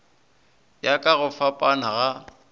ya ka go fapana ga